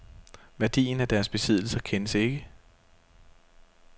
Værdien af deres besiddelser kendes ikke.